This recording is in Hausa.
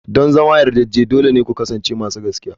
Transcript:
Don zama yardade dole ne ku kasance masu gaskiya.